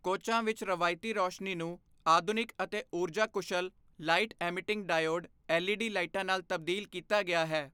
ਕੋਚਾਂ ਵਿੱਚ ਰਵਾਇਤੀ ਰੋਸ਼ਨੀ ਨੂੰ ਆਧੁਨਿਕ ਅਤੇ ੳਰਜਾ ਕੁਸ਼ਲ ਲਾਈਟ ਐਮੀਟਿੰਗ ਡਾਇਓਡ ਐੱਲਈਡੀ ਲਾਈਟਾਂ ਨਾਲ ਤਬਦੀਲ ਕੀਤਾ ਗਿਆ ਹੈ।